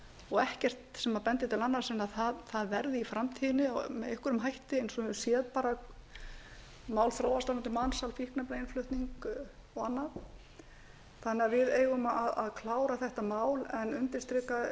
og ekkert sem bendir til annars en það verði í framtíðinni með einhverjum hætti eins og við höfum séð mál þróast um mansal fíkniefnainnflutning og annað þannig að við eigum að klára þetta mál en ég vil undirstrika